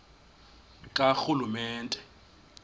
karhulumente